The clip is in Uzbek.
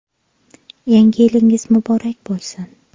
Yangi yilingiz muborak bo‘lsin!